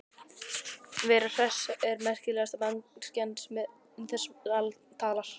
Vera Hress er merkilegasta manneskjan sem um þessi mál talar.